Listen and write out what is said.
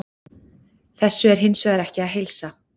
Þessu er hins vegar ekki að heilsa.